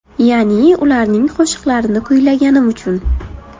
Ya’ni, ularning qo‘shiqlarini kuylaganim uchun.